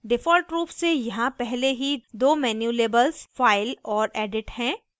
default रूप से यहाँ पहले ही दो menu labels file और edit हैं